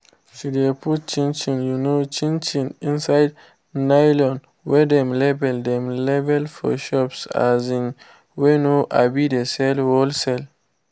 she de put chin um chin inside nylon wey dem label dem label for shops um wey no um dey sell wholesale